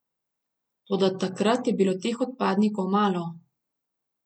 Toda takrat je bilo teh odpadnikov malo.